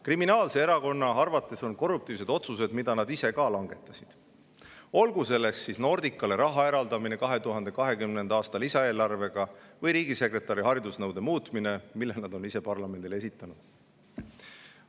Kriminaalse erakonna arvates on korruptiivsed otsused, mida nad ise ka langetasid, olgu selleks siis Nordicale raha eraldamine 2020. aasta lisaeelarvega või riigisekretäri haridusnõude muutmine, mille nad on ise parlamendile esitanud.